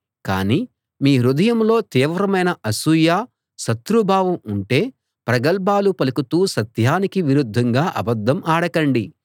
కాని మీ హృదయంలో తీవ్రమైన అసూయ శత్రుభావం ఉంటే ప్రగల్భాలు పలుకుతూ సత్యానికి విరుద్ధంగా అబద్ధం ఆడకండి